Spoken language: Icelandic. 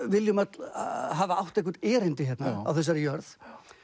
viljum öll hafa átt eitthvert erindi hérna á þessari jörð